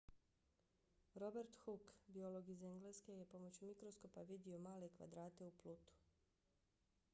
robert hooke biolog iz engleske je pomoću mikroskopa vidio male kvadrate u plutu